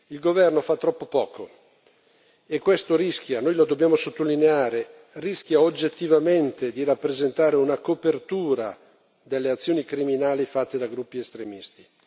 Il governo fa troppo poco, e questo rischia noi lo dobbiamo sottolineare rischia oggettivamente di rappresentare una copertura delle azioni criminali fatte da gruppi estremisti.